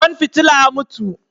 Kwan fitila ya mutu